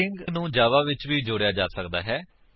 string ਨੂੰ Java ਵਿੱਚ ਵੀ ਜੋੜਿਆ ਜਾ ਸਕਦਾ ਹੈ